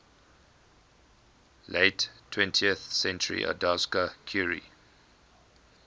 late twentieth centuryodowska curie